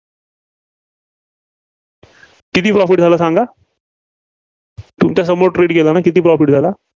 किती profit झालं सांगा? तुमच्यासमोर trade केलाना? किती profit झाला?